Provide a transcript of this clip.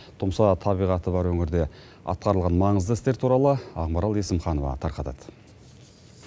тұмса табиғаты бар өңірде атқарылған маңызды істер туралы ақмарал есімханова тарқатады